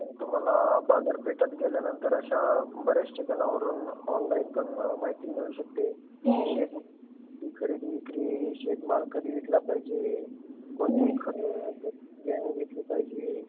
मग तुम्हाला बाजारपेठांत गेल्या नंतर, मग अशा बऱ्याचशा जनावरांवर ऑनलाईन पण माहिती मिळू शकते. खरेदी - विक्री, शेत माल कधी विकला पाहिजे, कोणते खात बियाणे घेतले पाहिजे?